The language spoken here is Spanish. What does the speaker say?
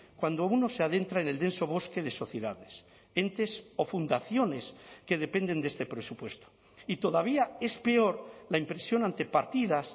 cuando uno se adentra en el denso bosque de sociedades entes o fundaciones que dependen de este presupuesto y todavía es peor la impresión ante partidas